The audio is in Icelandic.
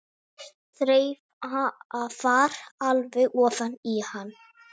Þreifar alveg ofan í hann.